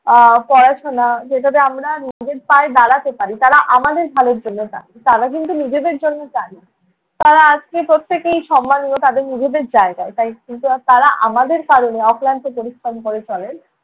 আহ পড়াশোনা যেটাতে আমরা নিজের পায়ে দাঁড়াতে পারি। তাঁরা আমাদের ভালোর জন্য চান, তাঁরা কিন্তু নিজেদের জন্য চান না। তাঁরা আজকে প্রত্যেকেই সম্মানীয় তাঁদের নিজেদের জায়গায়। তাই কিন্তু আর তাঁরা আমাদের কারণে অক্লান্ত পরিশ্রম করে চলেন।